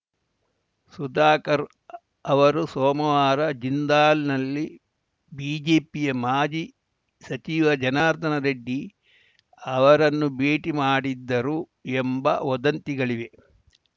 ಸುಧಾಕರ್‌ ಅವರು ಸೋಮವಾರ ಜಿಂದಾಲ್‌ನಲ್ಲಿ ಬಿಜೆಪಿಯ ಮಾಜಿ ಸಚಿವ ಜನಾರ್ದನ ರೆಡ್ಡಿ ಅವರನ್ನು ಭೇಟಿ ಮಾಡಿದ್ದರು ಎಂಬ ವದಂತಿಗಳಿವೆ